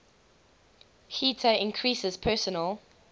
heater increases personal